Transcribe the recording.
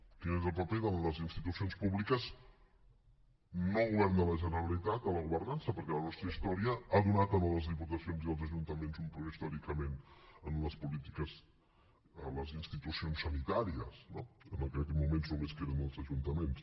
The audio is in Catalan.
quin és el paper de les institucions públiques no govern de la generalitat en la governança perquè la nostra història ha donat en les diputacions i els ajuntaments un plus històricament en les polítiques en les institucions sanitàries no que en aquests moments només queden els ajuntaments